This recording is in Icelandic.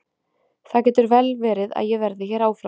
Það getur vel verið að ég verði hér áfram.